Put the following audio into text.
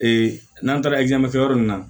n'an taara yɔrɔ min na